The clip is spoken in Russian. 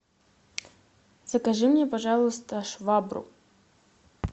закажи мне пожалуйста швабру